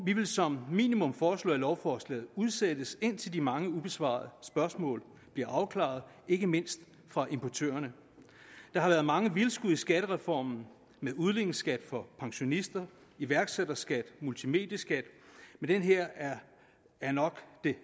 vi vil som minimum foreslå at lovforslaget udsættes indtil de mange ubesvarede spørgsmål bliver afklaret ikke mindst fra importørerne der har været mange vildskud i skattereformen med udligningsskat for pensionister iværksætterskat og multimedieskat men den her er